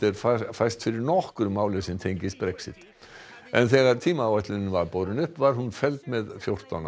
fæst fyrir nokkru máli sem tengist Brexit en þegar tímaáætlunin var borin upp var hún felld með fjórtán